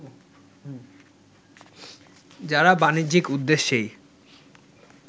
যারা বাণিজ্যিক উদ্দেশ্যেই